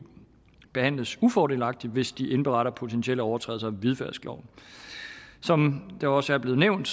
behandles ufordelagtigt hvis de indberetter potentielle overtrædelser af hvidvaskloven som det også er blevet nævnt